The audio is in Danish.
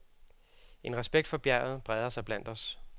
En respekt for bjerget breder sig blandt os.